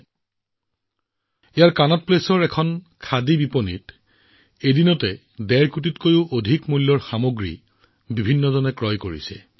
দিল্লীৰ কনট প্লেচৰ একমাত্ৰ খাদী ষ্টৰত জনতাই এদিনতে ডেৰ কোটিতকৈও অধিক টকা মূল্যৰ সামগ্ৰী ক্ৰয় কৰিছিল